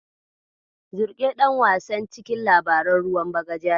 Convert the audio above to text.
Zilƙe ɗan wasan cikin labaran ruwan bagaja ne.